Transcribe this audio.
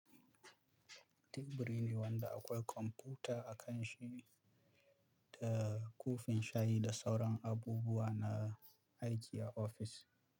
Teburi ne wanda akwai kwamfuta a kan shi da kofin shayi da sauran abubuwa na aiki a ofis.